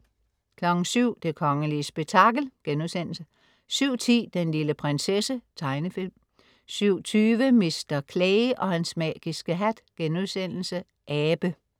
07.00 Det kongelige spektakel* 07.10 Den lille prinsesse. Tegnefilm 07.20 Mr. Clay og hans magiske hat.* Abe